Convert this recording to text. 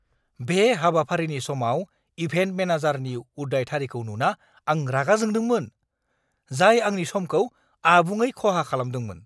बे हाबाफारिनि समाव इभेन्ट मेनेजारनि उदायथारैखौ नुना आं रागा जोंदोंमोन, जाय आंनि समखौ आबुङै खहा खालामदोंमोन!